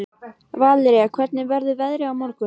Valería, hvernig verður veðrið á morgun?